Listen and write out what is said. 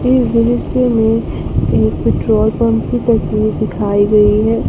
इस दृश्य में एक पेट्रोल पंप की तस्वीर दिखाई गई है।